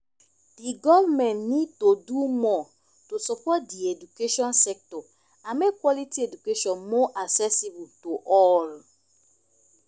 di government need to do more to support di education sector and make quality education more accessibile to all.